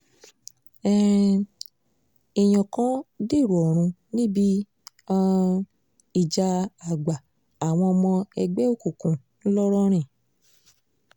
um èèyàn kan dèrò ọ̀run níbi um ìjà àgbà àwọn ọmọ ẹgbẹ́ òkùnkùn ńlọrọrìn